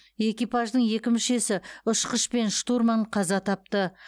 экипаждың екі мүшесі ұшқыш пен штурман қаза тапты